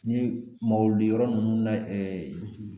Ni mawulu di yɔrɔ nunnu na ɛɛ